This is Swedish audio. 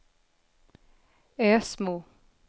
Ösmo